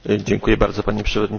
Pani Przewodnicząca!